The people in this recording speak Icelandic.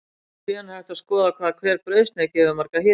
Síðan er hægt að skoða hvað hver brauðsneið gefur margar hitaeiningar.